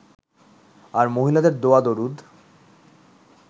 আর মহিলাদের দোয়া-দরুদ